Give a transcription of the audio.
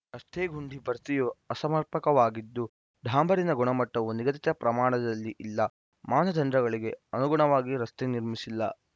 ರಸ್ತೆ ಗುಂಡಿ ಭರ್ತಿಯು ಅಸಮರ್ಪಕವಾಗಿದ್ದು ಡಾಂಬರಿನ ಗುಣಮಟ್ಟವೂ ನಿಗದಿತ ಪ್ರಮಾಣದಲ್ಲಿ ಇಲ್ಲ ಮಾನದಂಡಗಳಿಗೆ ಅನುಗುಣವಾಗಿ ರಸ್ತೆ ನಿರ್ಮಿಸಿಲ್ಲ